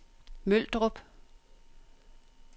Møldrup